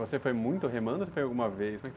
Você foi muito remando ou foi alguma vez?